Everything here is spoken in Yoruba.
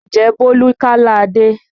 Ǹjẹ́ Bólú kálá Adé?